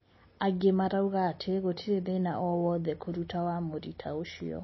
Angi marauga ati gutiri thina oo wothe kuruta wamũri taa ucio.